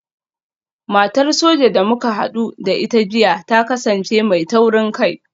Matar Soja da muka hadu da ita jiya ta kasance mai taurin kai